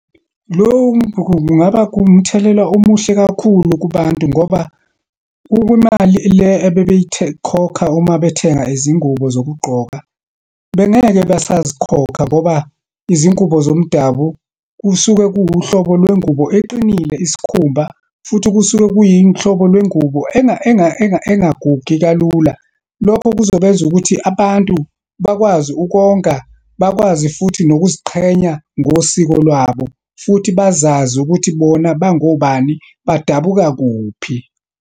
Lokhu kungaba kuwumthelela omuhle kakhulu kubantu ngoba kukwimali le khokha uma bethenga izingubo zokugqoka, bengeke bazikhokha ngoba izingubo zomdabu kusuke kuwuhlobo lwengubo eqinile, isikhumba. Futhi kusuke kuyihlobo lwengubo engagugi kalula. Lokho kuzobenza ukuthi abantu bakwazi ukonga, bakwazi futhi nokuziqhenya ngosiko lwabo. Futhi bazazi ukuthi bona bangobani, badabuka kuphi.